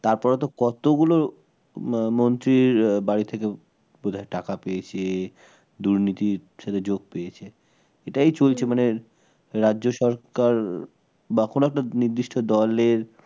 তারপরে তো কতগুলো ম মন্ত্রীর বাড়ি থেকে বোধ হয় টাকা পেয়েছে, দুর্নীতির সাথে যোগ দিয়েছে, এটাই চলছে মানে রাজ্য সরকার বা কোন একটা নির্দিষ্ট দলের